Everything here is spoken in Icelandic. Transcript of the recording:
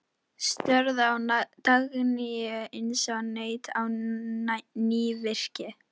Störðu á Dagnýju eins og naut á nývirki.